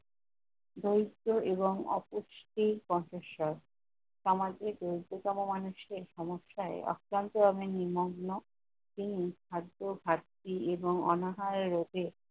বইতে এবংঅপুষ্টির কণ্ঠস্বর। তামাকে দৈততম মানুষের আক্রান্ত অনেক নিমগ্ন, তিনি খাদ্য ঘাটতি এবং অনাহার রোধে